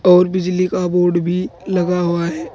और बिजली का बोर्ड भी लगा हुआ है।